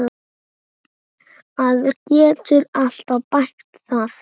Maður getur alltaf bætt það.